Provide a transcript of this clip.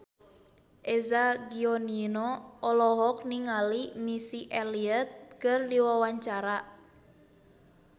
Eza Gionino olohok ningali Missy Elliott keur diwawancara